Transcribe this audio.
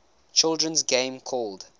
children's game called